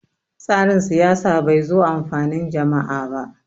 tsarin siyasa bai zo amfanin jam`a ba